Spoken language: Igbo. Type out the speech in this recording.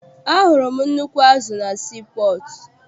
Ahụrụ m nnukwu azụ na sii pọọtụ.